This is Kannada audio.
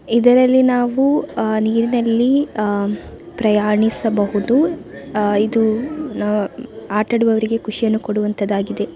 ಇದರಲ್ಲಿ ನಾವು ಆಂ ನೀರ್ ನಲ್ಲಿ ಆಂ ಪ್ರಯಾಣಿಸಬಹುದು. ಆಂ ಇದು ಆಂ ಆಟಡುವವರಿಗೆ ಖುಷಿಯನ್ನು ಕೊಡುವಂತದ್ದಾಗಿದೆ.